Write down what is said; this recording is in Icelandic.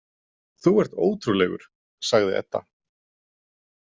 Þú ert ótrúlegur, sagði Edda.